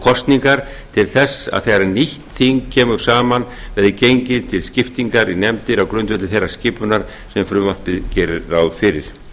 kosningar til þess að þegar nýtt þing kemur saman verði gengið til skiptingar í nefndir á grundvelli þeirrar skipunar sem frumvarpið gerir ráð fyrir